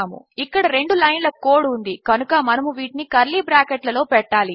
ఇక్కడ రెండు లైన్ల కోడ్ ఉంది కనుక మనము వీటిని కర్లీ బ్రాకెట్ లలో పెట్టాలి